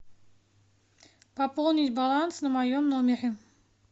пополнить баланс на моем номере